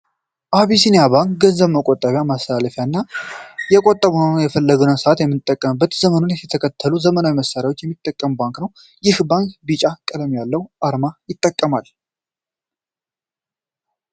አቢሲኒያ ባንክ የገንዘብ መቆጠቢያ፣ ማስተላለፊያ እና የቆጠብነውን በፈለግነው ሰአት የምንጠቀምበት ዘመኑን የተከተሉ ዘመናዊ መሳሪያዎችን የሚጠቀም ባንክ ነው። ይህ ባንክ ቢጫ ቀለም ያለውን አርማ ይጠቀማል።